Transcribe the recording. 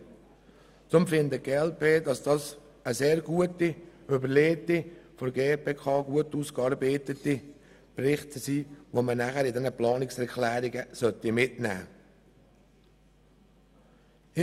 Deshalb findet die glp, dass dieser gut überlegte und ausgearbeitete Bericht mit den Planungserklärungen ergänzt werden sollte.